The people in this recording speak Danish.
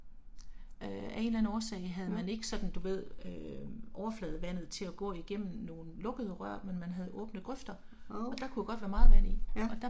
Ja. Oh, ja